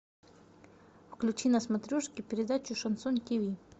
включи на смотрешке передачу шансон тв